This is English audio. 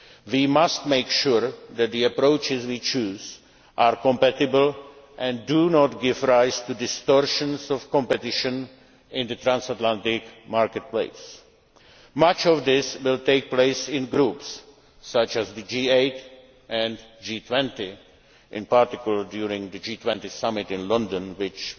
employment. We must make sure that the approaches we choose are compatible and do not give rise to distortions of competition in the transatlantic market place. Much of this will take place in groups such as the G8 and G20, in particular during the G20 summit in London